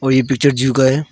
और ये picture zoo का है।